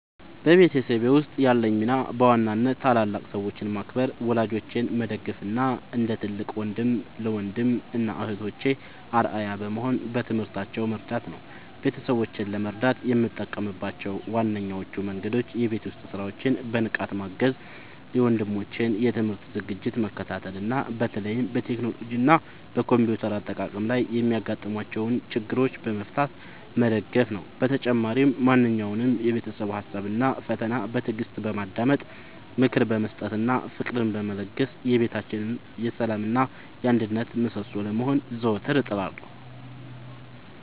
በቤተሰቤ ውስጥ ያለኝ ሚና በዋናነት ታላላቅ ሰዎችን ማክበር፣ ወላጆቼን መደገፍ እና እንደ ትልቅ ወንድም ለወንድም እና እህቶቼ አርአያ በመሆን በትምህርታቸው መርዳት ነው። ቤተሰቦቼን ለመርዳት የምጠቀምባቸው ዋነኞቹ መንገዶች የቤት ውስጥ ሥራዎችን በንቃት ማገዝ፣ የወንድሞቼን የትምህርት ዝግጅት መከታተል እና በተለይም በቴክኖሎጂ እና በኮምፒውተር አጠቃቀም ላይ የሚያጋጥሟቸውን ችግሮች በመፍታት መደገፍ ነው። በተጨማሪም ማንኛውንም የቤተሰብ ሀሳብ እና ፈተና በትዕግስት በማዳመጥ፣ ምክር በመስጠት እና ፍቅርን በመለገስ የቤታችን የሰላም እና የአንድነት ምሰሶ ለመሆን ዘወትር እጥራለሁ።